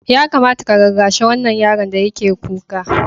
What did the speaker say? Ya kamata ka rarrashi wannan yaron da yake kuka.